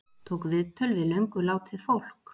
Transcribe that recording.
Tók viðtöl við löngu látið fólk